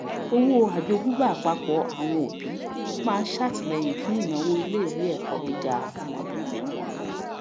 owó ajogúnbá àpapọ àwọn àwọn òbí máa ṣètìlẹyìn fún ìnáwó iléìwé ẹkọ gíga ọmọbìrin wọn